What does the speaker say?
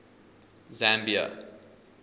zambia